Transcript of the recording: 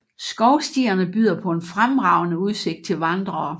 Skovstierne byder på en fremragende udsigt til vandrere